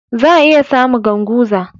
Za'a iya samu Ganguza.